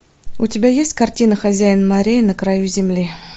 у тебя есть картина хозяин морей на краю земли